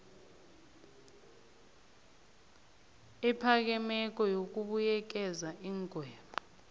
ephakemeko yokubuyekeza iingwebo